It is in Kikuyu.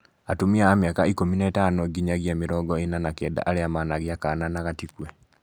Atumia a mĩaka ikũmi na ĩtano nginyagia mĩrongo ĩna na kenda arĩa managĩa kana na gatikue